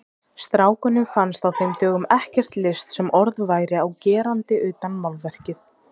Strákunum fannst á þeim dögum ekkert list sem orð væri á gerandi utan málverkið.